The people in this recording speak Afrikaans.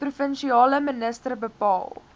provinsiale minister bepaal